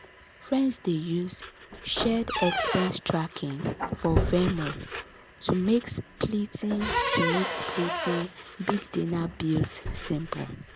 friends dey use shared expense tracking for venmo to make splitting to make splitting big dinner bills simple.